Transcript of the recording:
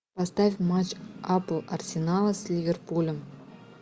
поставь матч апл арсенала с ливерпулем